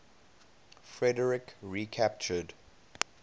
frederik recaptured